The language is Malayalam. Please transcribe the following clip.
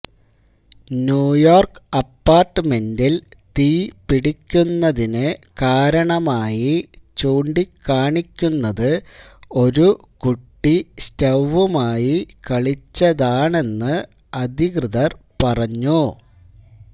ന്യൂയോര്ക്ക് അപ്പാര്ട്ട്മെന്റില് തീ പിടിക്കുന്നതിന് കാരണമായി ചൂണ്ടിക്കാണിക്കുന്നത് ഒരു കുട്ടി സ്റ്റൌവുമായി കളിച്ചതാണെന്ന് അധികൃതർ പറഞ്ഞു